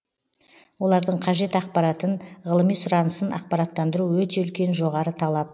олардың қажет ақпаратын ғылыми сұранысын ақпараттандыру өте үлкен жоғары талап